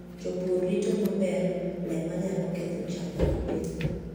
Jopur rito maber le manyalo ketho cham ma gipidho.